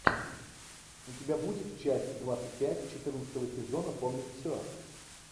у тебя будет часть двадцать пять четырнадцатого сезона помнить все